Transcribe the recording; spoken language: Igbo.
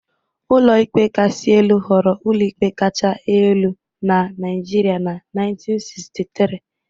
Ụlọikpe Kasị Elu ghọrọ ụlọikpe kacha elu na Nigeria na 1963